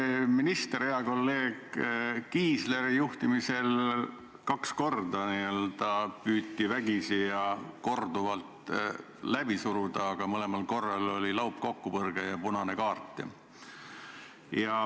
Eelmise ministri, hea kolleegi Kiisleri juhtimisel püüti kaks korda seda vägisi läbi suruda, aga mõlemal korral oli laupkokkupõrge ja anti punane kaart.